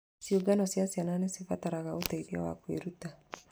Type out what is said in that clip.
Ciũngano cia ciana nĩ cibataraga ũteithio wa kwĩruta.